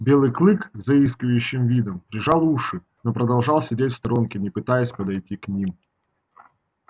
белый клык с заискивающим видом прижал уши но продолжал сидеть в сторонке не пытаясь подойти к ним